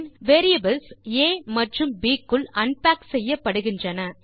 பின் variables ஆ மற்றும் ப் க்குள் அன்பேக் செய்யப்படுகின்றன